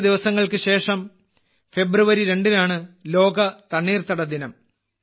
കുറച്ച് ദിവസങ്ങൾക്ക് ശേഷം ഫെബ്രുവരി 2നാണ് ലോക തണ്ണീർത്തട ദിനം